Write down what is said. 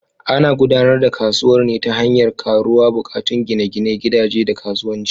Ana gudanar da kasuwar ne ta hanyar karuwar buƙatun gine-ginen gidaje da kasuwanci.